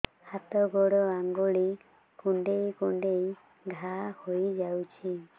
ହାତ ଗୋଡ଼ ଆଂଗୁଳି କୁଂଡେଇ କୁଂଡେଇ ଘାଆ ହୋଇଯାଉଛି